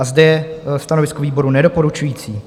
A zde je stanovisko výboru nedoporučující.